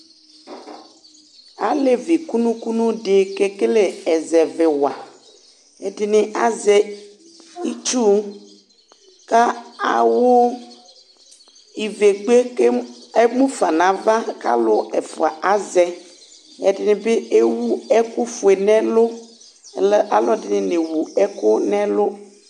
Alé́́vï kũnũ kũnũ dï kekele ɛzɛvɛ wa ɛdini azɛ itsũ ka awũ ivégbé kem emũfa nava kalũ ɛfua kazɛ ɛdinibi ewũ ekũ fué nɛlũ laaluɛdini newʊ ɛkũ nɛlũ